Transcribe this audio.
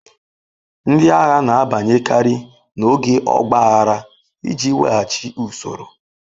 Ndị agha na-abanyekarị n'oge ọgba aghara iji weghachi usoro.